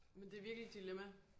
Men det er virkelig et dilemma